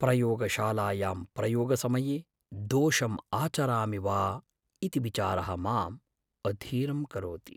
प्रयोगशालायां प्रयोगसमये दोषम् आचरामि वा इति विचारः माम् अधीरं करोति।